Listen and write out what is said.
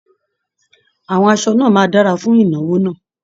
Àwọn aṣọ náà máa dára fún ìnáwó náà